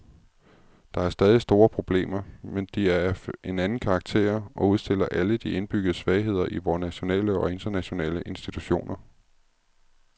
Der er stadig store problemer, men de er af en anden karakter og udstiller alle de indbyggede svagheder i vore nationale og internationale institutioner.